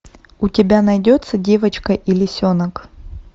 у тебя найдется девочка и лисенок